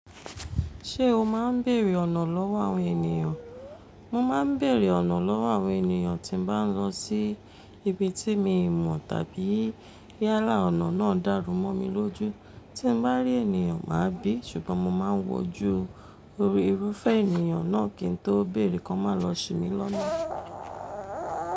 Ṣé o máa ń bèèrè ọ̀nà lọ́wọ́ àwọn ènìyàn? Mo máa ń bèèrè ọ̀nà lọ́wọ́ àwọn ènìyàn tí bá ń lọ sí ibi tí mi ò mọ̀ tàbí yàlá ọ̀nà náà dárú mọ́ mi lójú. Tí mo bá rí ènìyàn, màá bí i ṣùgbọ́n mo máa ń wọjú torí irúfẹ́ ènìyàn náà kí n tó bèèrè kí wọ́n má lọ ṣi mi lọ́nà.